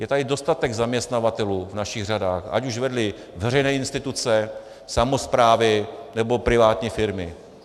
Je tady dostatek zaměstnavatelů v našich řadách, ať už vedli veřejné instituce, samosprávy nebo privátní firmy.